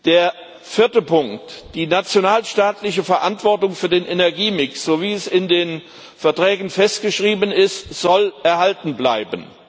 Der vierte Punkt Die nationalstaatliche Verantwortung für den Energiemix, so wie es in den Verträgen festgeschrieben ist, soll erhalten bleiben.